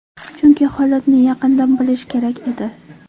Chunki holatni yaqindan bilish kerak edi.